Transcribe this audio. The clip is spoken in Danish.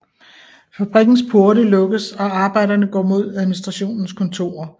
Fabrikkens porte lukkes og arbejderne går mod administrationens kontorer